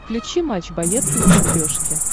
включи матч боец на смотрешке